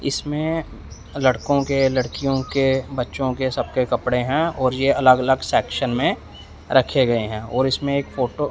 इसमें लड़कों के लड़कियों के बच्चों के सबके कपड़े हैं और ये अलग अलग सेक्शन में रखे गए हैं और इसमें एक फोटो --